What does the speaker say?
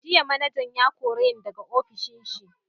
Jiya manajan ya kore ni daga ofishin shi.